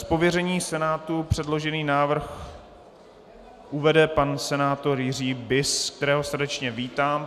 Z pověření Senátu předložený návrh uvede pan senátor Jiří Bis, kterého srdečně vítám.